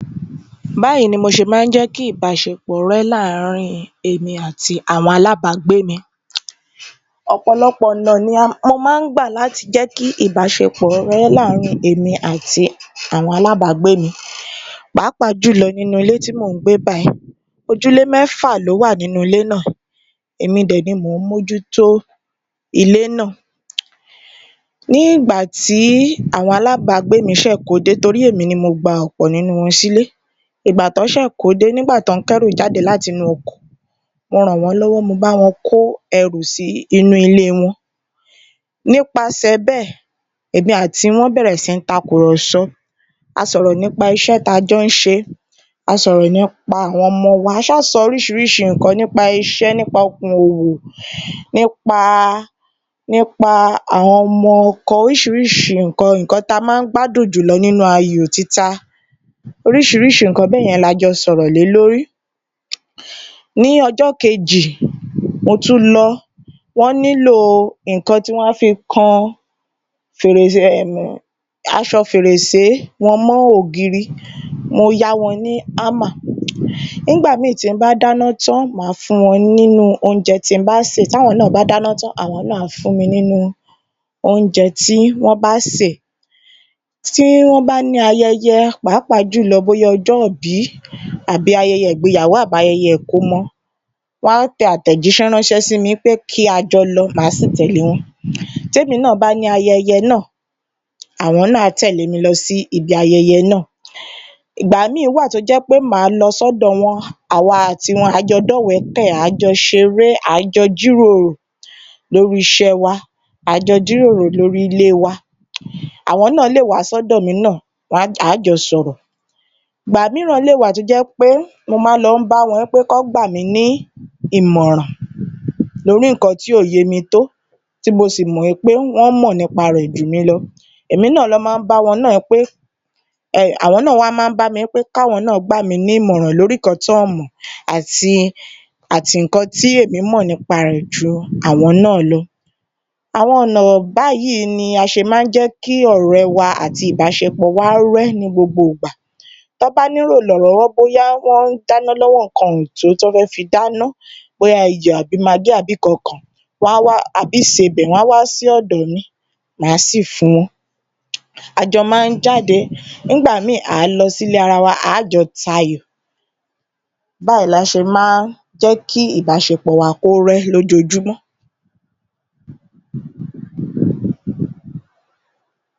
37. Báyìí ni mo ṣe máa ń jẹ́ kí ìbáṣepọ̀ rẹ́ láàárín èmi àti àwọn alábàágbé mi Ọ̀pọ̀lọpọ̀ ọ̀nà ni um mo máa ń gbà láti jẹ́ kí ìbáṣepọ̀ rẹ́ láàárín èmi àti àwọn alábàágbé mi pàápàá jùlọ nínú ilé tí mò ń gbé báyìí, ojúlé mẹ́fà ló wà nínú ilé náà èmi dẹ̀ ni mò ń mójútó ilé náà. Ní ìgbà tí àwọn alábàágbé mi ṣẹ̀ kódé torí èmi ni mo gbà ọ̀pọ̀ nínú wọn sílé, ìgbà tán ṣẹ̀ kódé, nígbà tán ń kẹ́rù jáde láti inú ọkọ̀, mo ràn wọ́n lọ́wọ́ mo bá wọn kó ẹrù sí inú ilé wọn nípasẹ̀ bẹ́ẹ̀ èmi àti wọn bẹ̀rẹ̀ sí takùrọ̀sọ, a sọ̀rọ̀ nípa iṣẹ́ tá a jọ ń ṣe, a sọ̀rọ̀ nípa àwọn ọmọ wa, a ṣáà sọ oríṣiríṣi nǹkan nípa iṣẹ́ nípa okòwò, nípa nípa àwọn ọmọ ọkọ oríṣiríṣi nǹkan, nǹkan ta má ń gbádùn jùlọ nínú ayò títa, oríṣiríṣi nǹkan bẹ́yẹn la jọ sọ̀rọ̀ lé lórí. Ní ọjọ́ kejì, mo tu lọ, wọ́n nílò nǹkan tí wọ́n á fi kan fèrèsé um aṣọ fèrèsé wọn mọ́ ògiri, mo yá wọn ní hammer. Nígbà míì tí ń bá dáná tán, màá fún wọn nínú oúnjẹ tí n bá sè táwọn náà bá dáná tán àwọn náà á fún mi nínú oúnjẹ tí wọ́n bá sè. Tí wọ́n bá ní ayẹyẹ pàápàá jùlọ bóyá ọjọ́ọ̀bí àbí ayẹyẹ ìgbéyàwó, ayẹyẹ ìkómọ, wọ́n á tẹ àtẹ̀ránṣẹ́ sí mi kí a jọ lọ màá sì tẹ̀lé wọn tèmi náà bá ní ayẹyẹ náà àwọn náà á tẹ̀lé mi lọ sí ibi ayẹyẹ náà. Ìgbà míì wà tó jẹ́ pé màá lọ sọ́dọ̀ wọn, àwa àti wọn àá jọ dọ́wẹ̀ẹ́kẹ̀, àájọ ṣeré, àájọ jíròrò lórí iṣẹ́ẹwa, àá jọ jíròrò lórí ilé wa. Àwọn náà lè wá sọ́dọ̀ mi náà um àá jọ sọ̀rọ̀, ìgbà mìíràn lè wà tó jẹ́ pé mo máa ń lọ bá wọn pé kán gbàmí ní ìmọ̀ràn lórí nǹkan tí ò yémi tó tí mo sì mọ̀ wí pé wọ́n mọ̀ nípa rẹ̀ jùmí lọ. Èmi náà lọ má ń bá wọn náà wí pé um àwọn náà wá má ń bá mi wí pé káwọn náà wá gbàmí ní ìmọ̀ràn lórí nǹkan tí wọn mọ̀ àti nǹkan tí èmi mọ̀ nípa rẹ̀ ju àwọn náà lọ. Àwọn ọ̀nà, báyìí ni a ṣe má ń jẹ́ kí ọ̀rẹ́ wa àti ìbáṣepọ̀ wa rẹ́ ní gbogbo ìgbà. Tán bá nílò ìrànlọ́wọ́ bóyá wọ́n ń dáná lọ́wọ́ nǹkan ò jẹ́ kí wọ́n fi dáná bóyá iyọ̀ àbí magí àbí nǹkọkan, wọ́n á wá àbí ìsebẹ̀ wọ́n á wá sí ọ̀dọ̀ mi. Màá sì fún wọn. A jọ máa ń jáde, ngbà míì lọ sílé ara wa àá jọ tayò. Báyìí la ṣe má ń jẹ́ kí ìbáṣepọ̀ wa kó rẹ́ lójoojúmọ́.